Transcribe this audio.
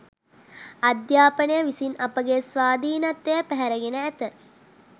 අධ්‍යාපනය විසින් අපගේ ස්වාධීනත්වය පැහැරගෙන ඇත